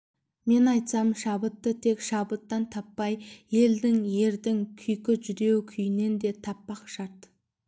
мен айтсам шабытты тек шаттықтан таппай елдің ердің күйкі жүдеу күйінен де таппақ шарт